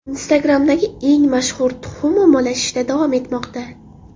Instagram’dagi eng mashhur tuxum ommalashishda davom etmoqda.